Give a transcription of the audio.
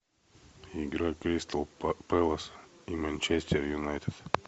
игра кристал пэлас и манчестер юнайтед